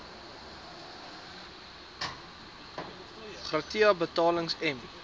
gratia betalings m